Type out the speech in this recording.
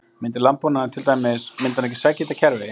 Myndi landbúnaðurinn til dæmis, myndi hann ekki sækja í þetta kerfi?